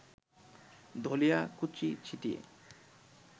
ধনিয়াকুচিছিটিয়ে